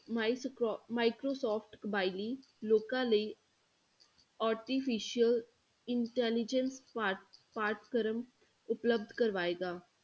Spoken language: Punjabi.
ਮਾਈਸਕਰੋ microsoft ਕਬਾਇਲੀ ਲੋਕਾਂ ਲਈ artificial intelligence ਪਾਠ ਪਾਠਕ੍ਰਮ ਉਪਲਬਧ ਕਰਵਾਏਗਾ।